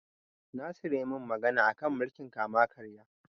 Nasir ya min magana a kan mulkin kama-karya.